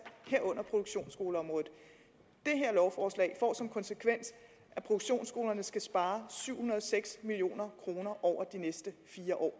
herunder produktionsskoleområdet det her lovforslag får som konsekvens at produktionsskolerne skal spare syv hundrede og seks million kroner over de næste fire år